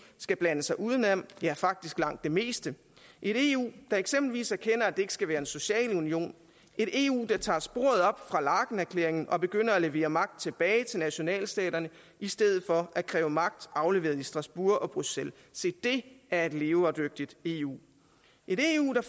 skal blande sig udenom ja faktisk langt det meste et eu der eksempelvis erkender at det ikke skal være en social union et eu der tager sporet op fra laekenerklæringen og begynder at levere magt tilbage til nationalstaterne i stedet for at kræve magt afleveret i strasbourg og bruxelles se det er et levedygtigt eu et eu der